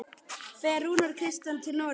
Fer Rúnar Kristins til Noregs?